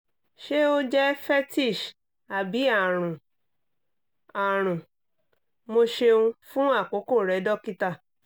ṣe o jẹ fetish tabi arun? arun? mo ṣeun fun akoko rẹ dokita